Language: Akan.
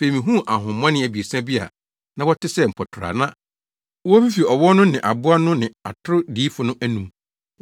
Afei mihuu ahonhommɔne abiɛsa bi a na wɔte sɛ mpɔtorɔ a na wofifi ɔwɔ no ne aboa no ne atoro diyifo no anom.